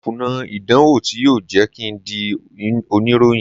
Mo kùnà ìdánwò tí yóò jẹ́ kín ń di oníròyìn.